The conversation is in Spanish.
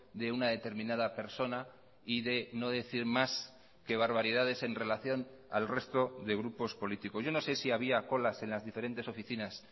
de una determinada persona y de no decir más que barbaridades en relación al resto de grupos políticos yo no sé si había colas en las diferentes oficinas